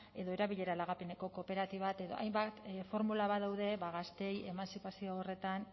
edo erabilera lagapeneko kooperatibak hainbat formula badaude gazteei emantzipazioa horretan